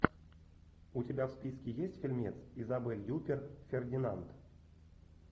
у тебя в списке есть фильмец изабель юппер фердинанд